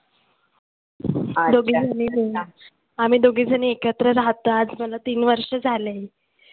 आम्ही दोघीजणी एकत्र राहतो आज मला तीन वर्ष झाली.